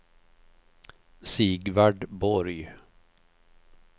Sigvard Borg